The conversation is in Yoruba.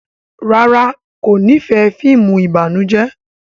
ràrá kò n'ifẹ fíìmù ìbànújẹ.